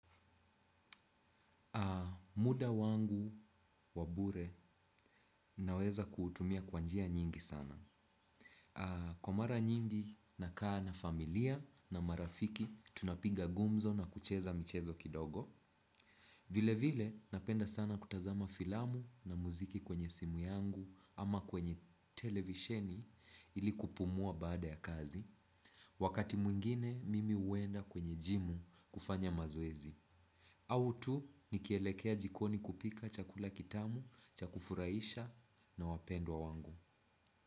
Muda wangu wabure naweza kuutumia kwa njia nyingi sana. Kwa mara nyingi na kaa na familia na marafiki tunapiga gumzo na kucheza michezo kidogo. Vile vile, napenda sana kutazama filamu na muziki kwenye simu yangu ama kwenye televisheni ili kupumua baada ya kazi. Wakati mwingine mimi huenda kwenye jimu kufanya mazoezi. Au tu, nikielekea jikoni kupika chakula kitamu, chakufuraisha na wapendwa wangu.